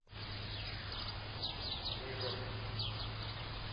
мега